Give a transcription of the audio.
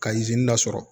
Ka dɔ sɔrɔ